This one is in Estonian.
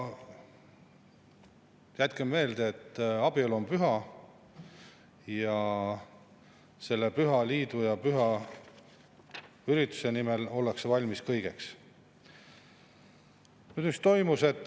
Jätkem meelde, et abielu on püha ning selle püha liidu ja püha ürituse nimel ollakse valmis kõigeks.